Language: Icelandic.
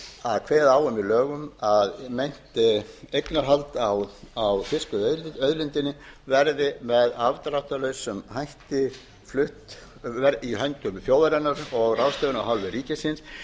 að kveða á í lögum að meint eignarhald á fiskveiðiauðlindinni verði með afdráttarlausum hætti flutt í hendur þjóðarinnar og ráðstöfun af hálfu ríkisins önnur framkvæmdaratriði sem frumvarpið kveður á um